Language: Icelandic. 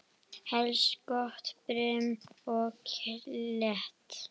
Helst gott brim og kletta.